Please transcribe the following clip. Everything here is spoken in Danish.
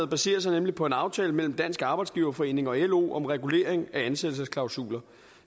baserer sig nemlig på en aftale mellem dansk arbejdsgiverforening og lo om regulering af ansættelsesklausuler